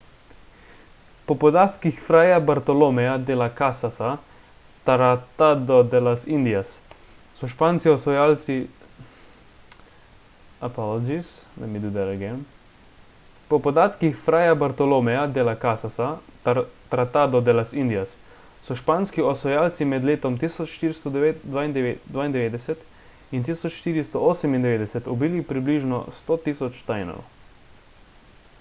po podatkih frayja bartoloméja de las casasa tratado de las indias so španski osvajalci med letom 1492 in 1498 ubili približno 100.000 tainov